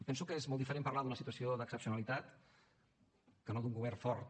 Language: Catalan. penso que és molt diferent parlar d’una situació d’excepcionalitat que no d’un govern fort